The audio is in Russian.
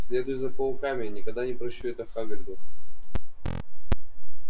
следуйте за пауками не когда не прощу это хагриду